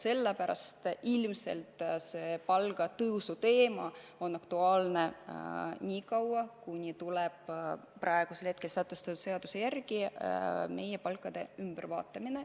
Sellepärast ilmselt see palgatõusuteema on aktuaalne niikaua, kuni tuleb praegu kehtiva seaduse järgi meie palkade ümbervaatamine.